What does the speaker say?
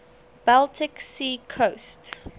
baltic sea coast